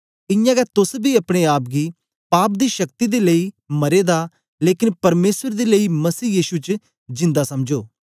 इयां गै तोस बी अपने आप गी पाप दी शक्ति दे लेई मरे दा लेकन परमेसर दे लेई मसीह यीशु च जिन्दा समझो